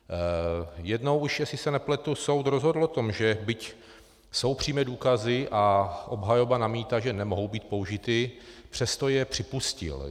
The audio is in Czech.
Jednou už, jestli se nepletu, soud rozhodl o tom, že byť jsou přímé důkazy a obhajoba namítá, že nemohou být použity, přesto je připustil.